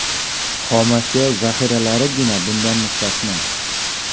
Xomashyo zaxiralarigina bundan mustasno.